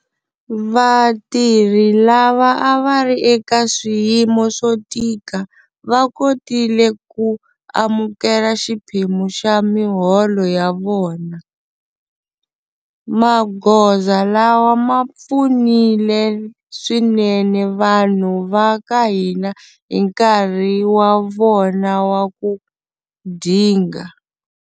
Vatirhi lava a va ri eka swiyimo swo tika va kotile ku amukela xiphemu xa miholo ya vona. Magoza lawa ma pfunile swinene vanhu va ka hina hi nkarhi wa vona wa ku dinga.